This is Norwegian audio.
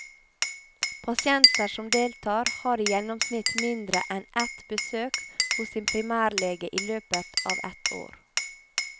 Pasienter som deltar, har i gjennomsnitt mindre enn ett besøk hos sin primærlege i løpet av ett år.